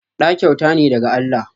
Ɗa kyauta ne daga Allah